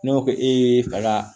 Ne ko ko e ye faga